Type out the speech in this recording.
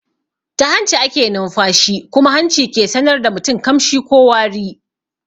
Ta hanci ake nunfashi kuma hanci ke sanar da mutum kamshi ko wari.